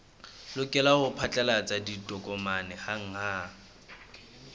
lokela ho phatlalatsa ditokomane hanghang